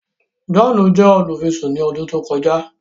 John jẹ olufisun ní ọdún tí o kọjá